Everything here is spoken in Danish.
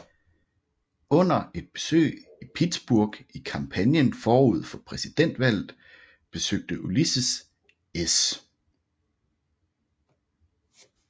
Under et besøg i Pittsburgh i kampagnen forud for præsidentvalget besøgte Ulysses S